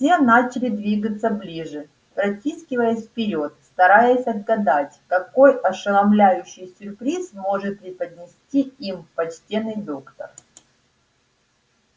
все начали двигаться ближе протискиваясь вперёд стараясь отгадать какой ошеломляющий сюрприз может преподнести им почтенный доктор